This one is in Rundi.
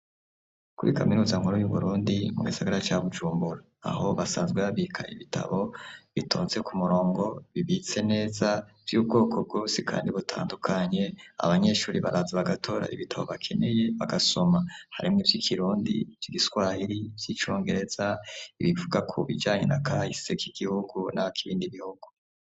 Kuri kaminuza nkuru y'uBurundi mu bisagara ca Bujumbura aho basanzwe babika ibitabo bitonze ku murongo bibitse neza vy'ubwoko bwosi kandi butandukanye abanyeshuri baraza bagatora ibitabo bakeneye bagasoma harimw' ivy'ikirundi ,vy'igiswahiri vy'icongereza ibivuga ku bijanye na kayise k' igihugu na kibindi bihugu